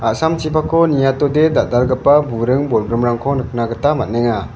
a·samchipakko niatode dal·dalgipa buring bolgrimrangko nikna gita man·enga.